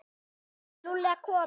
Ætlaði Lúlli að koma?